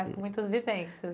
Mas com muitas vivências.